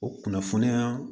O kunnafoniya